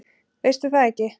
Veistu það ekki?